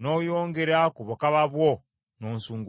n’oyongera ku bukaba bwo n’onsunguwaza.